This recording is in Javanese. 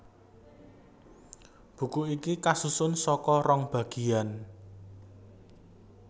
Buku iki kasusun saka rong bagiyan